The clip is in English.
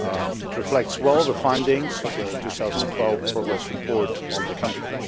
It reflects well the findings of the 2012 Progress Report on the country.